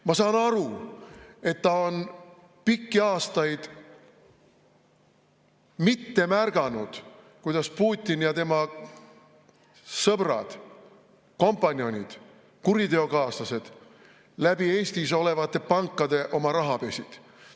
Ma saan aru, et ta ei ole pikki aastaid märganud, kuidas Putin ja tema sõbrad, kompanjonid, kuriteokaaslased, Eestis olevates pankades oma raha pesid.